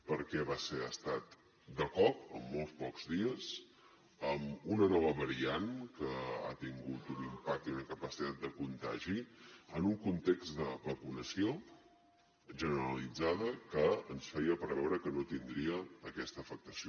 perquè va ser ha estat de cop amb molt pocs dies amb una nova variant que ha tingut un impacte i una capacitat de contagi en un context de vacunació generalitzada que ens feia preveure que no tindria aquesta afectació